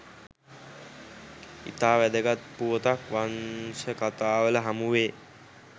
ඉතා වැදගත් පුවතක් වංශකතාවල හමුවේ.